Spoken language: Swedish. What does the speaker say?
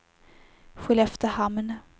Skelleftehamn